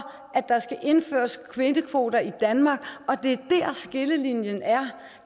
at der skal indføres kvindekvoter i danmark og det er der skillelinjen er